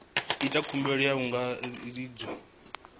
ita khumbelo hu tshi angaredzwa